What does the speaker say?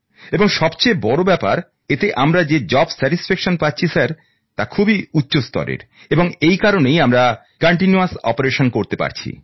এবং সবচেয়ে বড় ব্যাপার স্যার এতে আমরা কাজ করে যে আনন্দ পাচ্ছি তা খুবই উচ্চ স্তরের এবং এই কারণেই আমরা নিরলসভাবে কাজ করতে পারছি